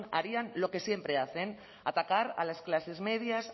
harían lo que siempre hacen atacar a las clases medias